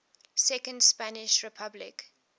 second spanish republic